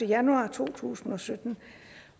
januar to tusind og sytten